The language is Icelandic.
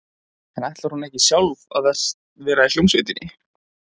En ætlar hún ekki sjálf að vera í hljómsveitinni?